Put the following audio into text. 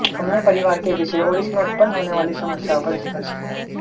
हमने परिवार के विषय और इसमें उत्पन्न होने वाली समस्याओं पर स्पर्श किया